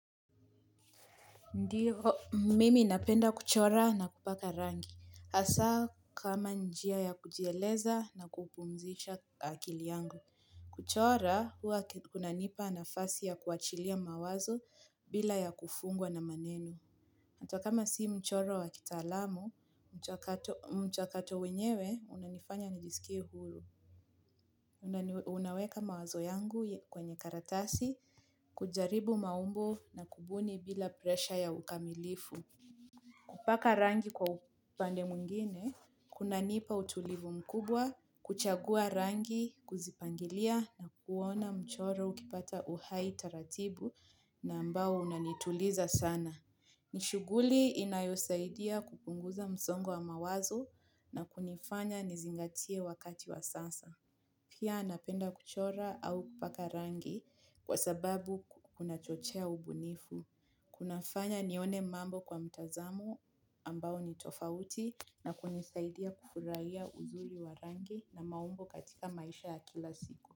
Ndio, mimi napenda kuchora na kupaka rangi, hasa kama njia ya kujieleza na kupumzisha akili yangu. Kuchora, huwa kunanipa nafasi ya kuachilia mawazo bila ya kufungwa na maneno. Hata kama si mchoro wa kitaalamu, mchakato wenyewe, unanifanya nijisikie huru. Naweka mawazo yangu kwenye karatasi, kujaribu maumbo na kubuni bila presha ya ukamilifu. Kupaka rangi kwa upande mwingine, kunanipa utulivu mkubwa, kuchagua rangi, kuzipangilia na kuona mchoro ukipata uhai taratibu na ambao unanituliza sana. Ni shughuli inayosaidia kupunguza msongo wa mawazo na kunifanya nizingatie wakati wa sasa. Pia napenda kuchora au kupaka rangi kwa sababu kunachochea ubunifu. Kunafanya nione mambo kwa mtazamo ambao ni tofauti na kunisaidia kufurahia uzuri wa rangi na maumbo katika maisha ya kila siku.